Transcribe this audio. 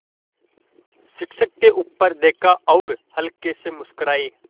शिक्षक ने ऊपर देखा और हल्के से मुस्कराये